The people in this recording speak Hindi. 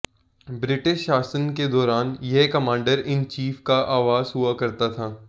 ब्रिटिश शासन के दौरान यह कमांडर इन चीफ का आवास हुआ करता था